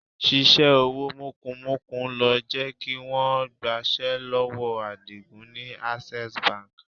Ṣíṣe owó mọ́kumọ̀ku ló jẹ́ kí wọ́n gbaṣẹ́ lọ́wọ́ Àdìgún ni Access Bank.